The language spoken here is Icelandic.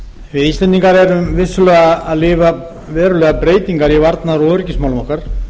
við íslendingar erum vissulega að upplifa verulegar breytingar í varnar og öryggismálum okkar